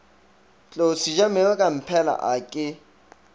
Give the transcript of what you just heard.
tlou sejamere kamphela a ke